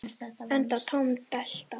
Enda tóm della.